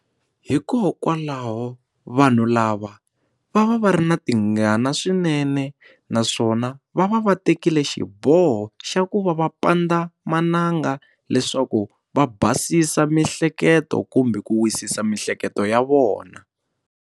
Hikokwalaho vanhu lava va va va ri na tingana swinene naswona va va va tekile xiboho xa ku va va pandzamananga leswaku va basisa mihleketo kumbe ku wisisa miehleketo ya vona.